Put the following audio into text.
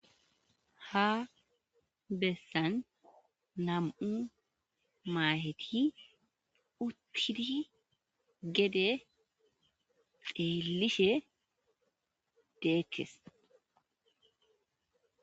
Ha bessan nam'u maaheti uttidi gede xeellishe de'etes